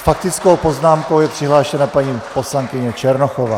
S faktickou poznámkou je přihlášena paní poslankyně Černochová.